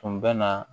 Tun bɛ na